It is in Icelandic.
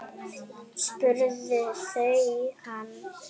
spurðu þau hann.